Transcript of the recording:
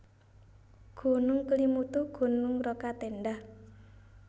Gunung KelimutuGunung Rokatenda